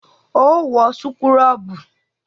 Óò wọ súkúrọ́bù!